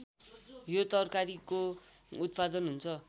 यो तरकारीको उत्पादन हुन्छ